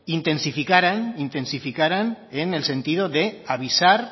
intensificaran en el sentido de avisar